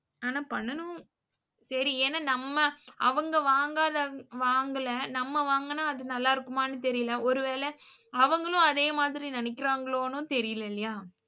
ஆனா பண்ணனும் சரி ஏன்னா நம்ம அவங்க வாங்காத வாங்கல, நம்ம வாங்குனா அது நல்லா இருக்குமானு தெரில. ஒருவேள அவங்களும் அதே மாதிரி நினைக்குறாங்கலானும் தெரில இல்லையா